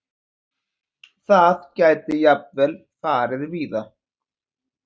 Það gæti jafnvel farið víða.